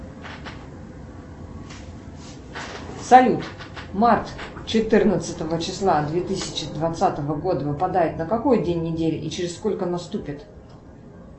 салют март четырнадцатого числа две тысячи двадцатого года выпадает на какой день недели и через сколько наступит